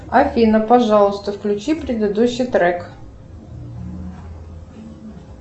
афина пожалуйста включи предыдущий трек